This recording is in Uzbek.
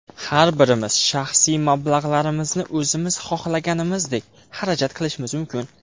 Har birimiz shaxsiy mablag‘larimizni o‘zimiz xohlaganimizdek xarajat qilishimiz mumkin.